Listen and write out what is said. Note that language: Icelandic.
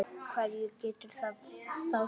Hverju getur það þá sætt?